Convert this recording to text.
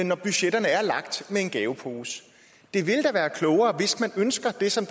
når budgetterne er lagt med en gavepose det ville da være klogere hvis man ønsker det som